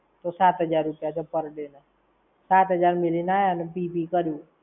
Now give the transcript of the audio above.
તો સાથ હાજર રૂપિયા છે per day ના! સાત હાજર મેલી ને આયા ને પી-પી કર્યું.